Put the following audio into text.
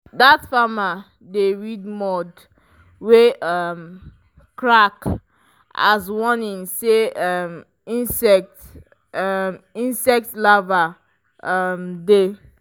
dat farmer dey read mud wey um crack as warning say um insect um insect larvae um dey.